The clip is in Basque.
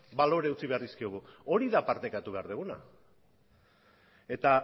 balore utzi behar dizkiogu hori da partekatu behar duguna eta